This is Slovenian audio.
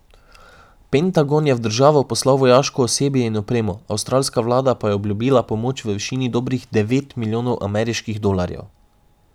Pentagon je v državo poslal vojaško osebje in opremo, avstralska vlada pa je obljubila pomoč v višini dobrih devet milijonov ameriških dolarjev.